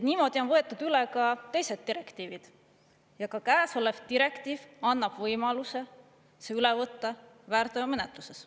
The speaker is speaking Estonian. Niimoodi on võetud üle ka teised direktiivid ja ka käesolev direktiiv annab võimaluse see üle võtta väärteomenetluses.